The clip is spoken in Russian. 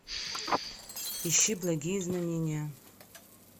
ищи благие знамения